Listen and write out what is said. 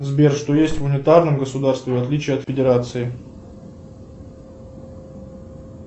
сбер что есть в унитарном государстве в отличие от федерации